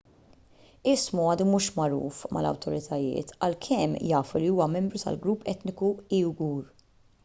ismu għadu mhux magħruf mal-awtoritajiet għalkemm jafu li huwa membru tal-grupp etniku uighur